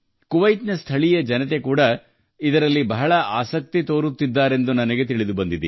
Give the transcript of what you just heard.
ಕುವೈತ್ನ ಸ್ಥಳೀಯ ಜನರು ಸಹ ಅದರಲ್ಲಿ ಹೆಚ್ಚಿನ ಆಸಕ್ತಿ ತೋರುತ್ತಿದ್ದಾರೆ ಎಂಬುದು ನನಗೆ ತಿಳಿದುಬಂದಿದೆ